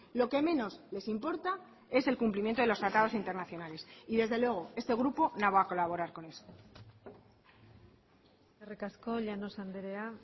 lo que menos les importa es el cumplimiento de los tratados internacionales y desde luego este grupo no va a colaborar con eso eskerrik asko llanos andrea